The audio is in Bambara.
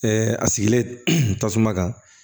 a sigilen tasuma kan